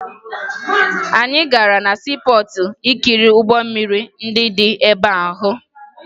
Anyị gara na siipọọtụ ikiri ụgbọ mmiri ndị dị ebe ahụ